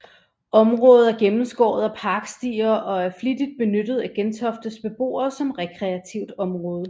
Området er gennemskåret af parkstier og er flittigt benyttet af Gentoftes beboere som rekreativt område